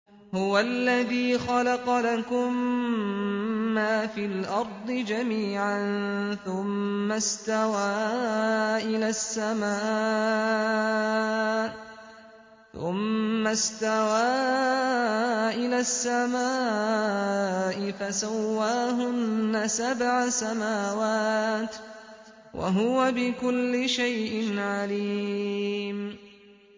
هُوَ الَّذِي خَلَقَ لَكُم مَّا فِي الْأَرْضِ جَمِيعًا ثُمَّ اسْتَوَىٰ إِلَى السَّمَاءِ فَسَوَّاهُنَّ سَبْعَ سَمَاوَاتٍ ۚ وَهُوَ بِكُلِّ شَيْءٍ عَلِيمٌ